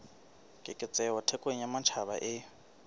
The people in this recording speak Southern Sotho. keketseho thekong ya matjhaba e